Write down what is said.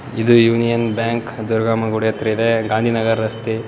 ಇದು union bank ಗರುಡಮ್ಮನ್ ಗುಡಿ ಹತ್ರ ಇದೆ ಗಾಂಧಿ ನಗರ ರಸ್ತೆ.